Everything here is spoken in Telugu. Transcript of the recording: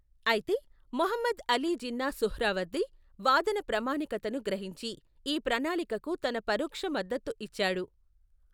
అయితే, మహమ్మద్ అలీ జిన్నా సుహ్రావర్ది వాదన ప్రామాణికతను గ్రహించి, ఈ ప్రణాళికకు తన పరోక్ష మద్దతు ఇచ్చాడు.